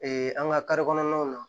an ka kɔnɔnaw na